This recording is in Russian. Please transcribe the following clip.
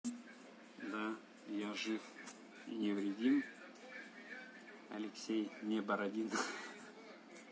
да я жив и невредим алексей не бородин